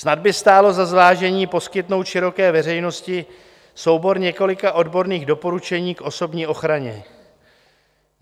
Snad by stálo za zvážení poskytnout široké veřejnosti soubor několika odborných doporučení k osobní ochraně.